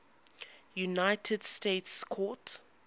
united states court